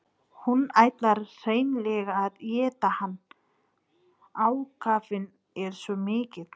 Hún ætlar hreinlega að éta hann, ákafinn er svo mikill.